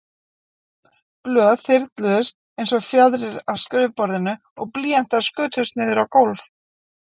Blöð þyrluðust einsog fjaðrir af skrifborðinu og blýantar skutust niður á gólf.